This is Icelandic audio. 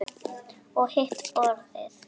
Og hitt borðið?